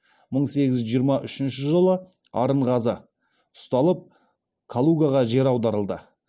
мың сегіз жүз жиырма үшінші жылы арынғазы ұсталып калугаға жер аударылды